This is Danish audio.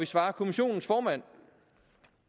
svarer kommissionens formand